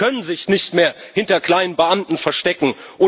Die können sich nicht mehr hinter kleinen Beamten verstecken.